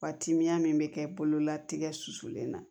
Wa timiya min bɛ kɛ bolola tigɛ susulen na